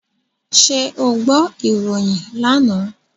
Ṣé o gbọ́ ìròyìn lánàá?